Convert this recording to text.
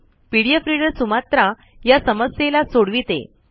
PDF reader Sumatra या समस्येला सोडविते